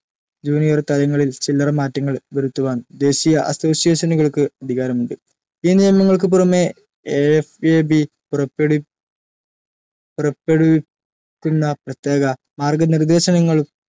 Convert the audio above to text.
Junior തലങ്ങളിൽ ചില്ലറ മാറ്റങ്ങൾ വരുത്തുവാൻ ദേശീയ അസോസിയേഷനുകൾക്ക്‌ അധികാരമുണ്ട്‌. ഈ നിയമങ്ങൾക്കു പുറമേ IFAB പുറപ്പെടുവി പുറപ്പെടുവിക്കുന്ന പ്രത്യേക മാർഗനിർദ്ദേശങ്ങളും